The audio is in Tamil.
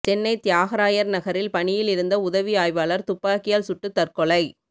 சென்னை தியாகராயர் நகரில் பணியில் இருந்த உதவி ஆய்வாளர் துப்பாக்கியால் சுட்டு தற்கொலை